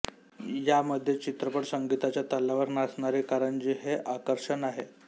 यामध्ये चित्रपट संगिताच्या तालावर नाचणारी कारंजी हे आकर्षण आहे